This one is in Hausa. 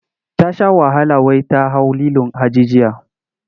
Ta sha wahala wai ta hau lilon hajijiya.